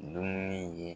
Dumuni ye